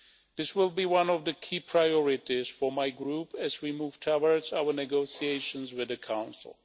This will be one of the key priorities for my Group as we move towards our negotiations with the Council.